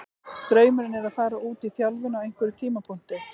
Draumurinn er að fara út í þjálfun á einhverjum tímapunkti.